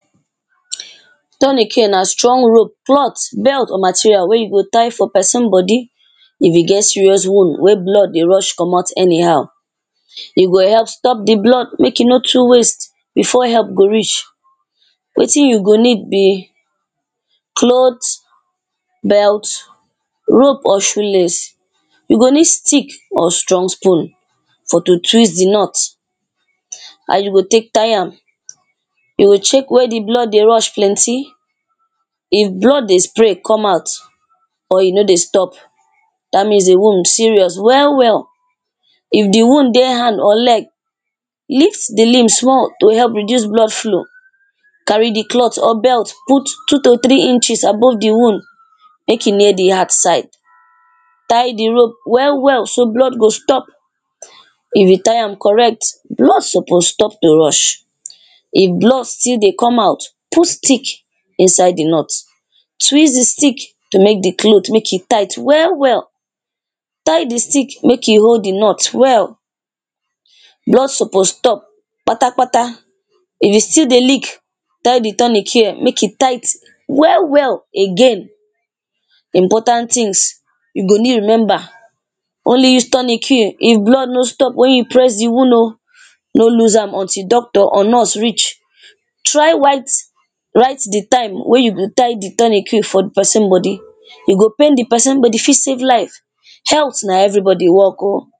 Tourniquet na strong rope ,cloth, belt or material wey you go tie for person body if e get serious wound wey blood de rush commot anyhow E go help stop the blood make e no too waste before help go reach wetin you go need be cloth, belt, rope or shoe lace you go need stick or strong spoon for to twist the knot How you go take tie am You go check where the blood de rush plenty if blood de spray come out or e no de stop that means the wound serious well well if the wound dey hand or leg lift the limb small to help reduce blood flow carry the cloth or belt put two to three inches above the wound make e near the heart side tie the rope well well so blood go stop if you tie am correct blood suppose stop to rush if blood still de come out put stick inside the knot twist the stick to make the cloth make e tight well well. tie the stick make e hold the knot well blood suppose stop kpatakpata if e still de leak tie the Tournicare make e tight well well again important things you go need remember only use Tournicare if blood no stop when you press the wound o no loose am until doctor or nurse reach try white write the time wey you tie the Tournicare for the person body e go pain the person, but e fit save life health na everybody work o